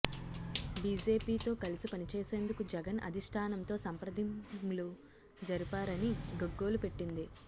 BJP తో కలిసి పనిచేసేందుకు జగన్ అధిష్టానంతో సంప్రదింలు జరిపారని గగ్గొలు పెట్టింది